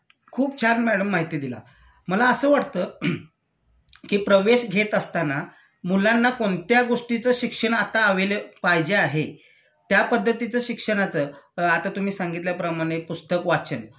खूप छान मॅडम माहिती दिला.मला असं वाटत कि प्रवेश घेत असताना मुलांना कोणत्या गोष्टीच शिक्षण आता अवेलेब पाहिजे आहे त्यापध्दतीच शिक्षणाचं आता तुम्ही सांगितल्या प्रमाणे पुस्तक वाचन